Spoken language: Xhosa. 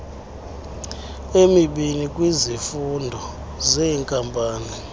emibini kwizifundo zeenkampani